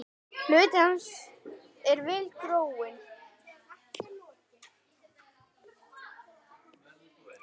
Hluti hans er vel gróinn.